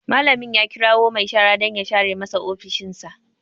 Malamin ya kirawo mai shara dan ya share masa ofishin sa